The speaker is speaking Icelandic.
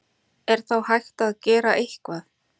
Er þá hægt að gera eitthvað?